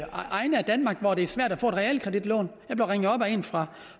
egne af danmark hvor det er svært at få et realkreditlån jeg blev ringet op af en fra